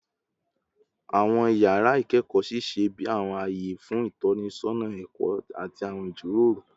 Awọn yara ikẹkọ ṣiṣẹ bi awọn aye fun itọnisọna ẹkọ ati awọn ijiroro